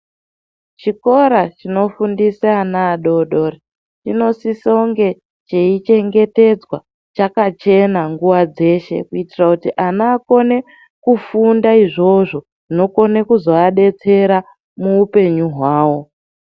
Chikora chinofundisa ana adodori chinosisa kunge cheichengetedzwa chakachena nguwa dzeshe kuitira kuti ana akone kufunda izvozvo zvinokona kuzoadetsera muupenyu hwao.